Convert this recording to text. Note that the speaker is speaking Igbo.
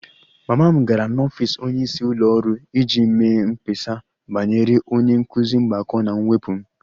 Mama m gara n'ọfịs onyeisi ụlọ ọrụ iji mee mkpesa banyere onye nkụzi mgbakọ na mwepụ m